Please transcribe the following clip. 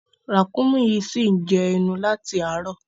Ràkúnmí yìí ṣì ń jẹ ẹnu láti àárọ̀.